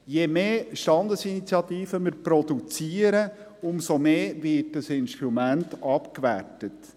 Je mehr Standesinitiativen wir produzieren, umso mehr wird dieses Instrument abgewertet.